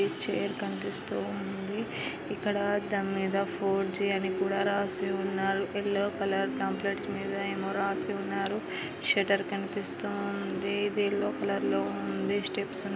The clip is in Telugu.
ఈ చైర్ కనిపిస్తూ ఉంది ఇక్కడ దానిమీద యెల్లో జి అని కూడా రాసి ఉంది యెల్లో కలర్ పాంప్లెట్స్ మీద ఏమో రాసి ఉన్నారు షట్టర్ కనిపిస్తూ ఉంది ఈ యెల్లో కలర్ లో ఉంది స్టెప్స్ .